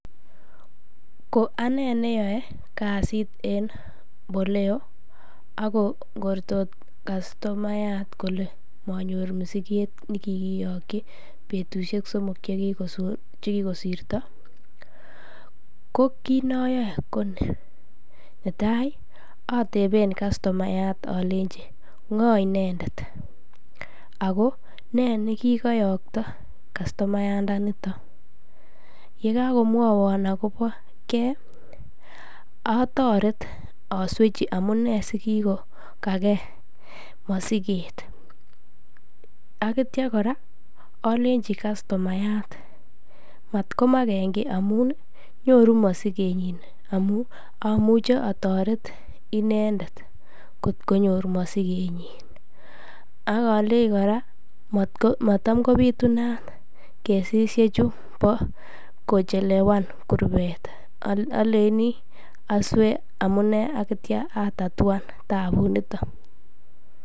Ko anee neyoe aksit en Boleo ak ngortot customayat kole manyor , masiket nekikiyokyi betushek somok chekikosirto ko kiit noyoe konii, netai oteben customayat olenchi ng'o inendet ak ko nee ne kikoyokto customayamdaniton, yekakomwowon akoboke atoret oswechi amunee asikikokake mosiket ak kitio kora olenji customayat matkomaken kii amun nyoru masikenyinamun amuche otoret inendet kot konyor mosikenyin, ak oleei kora matkobitunat kesisiechu bo kochelewan kurbet, oleini oswee amune akitio atatuan tabuniton.